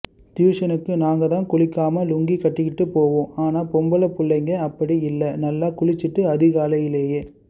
டியுசனுக்கு நாங்கதான் குளிக்காம லுங்கி கட்டிக்கிட்டு போவோம் ஆனா பொம்பள புள்ளைங்க அப்படி இல்ல நல்லா குளிச்சுட்டு அதிகாலைலையே